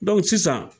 sisan